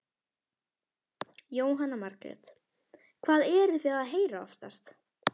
Jóhanna Margrét: Hvað eruð þið að heyra oftast?